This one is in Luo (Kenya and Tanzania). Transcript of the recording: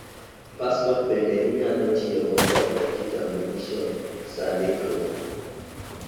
paspot bende inyalo tigo kod kitambulish sa ndikruok